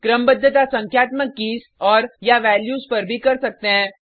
क्रमबद्धता संख्यात्मक कीज़ औरया वैल्यूज पर भी कर सकते हैं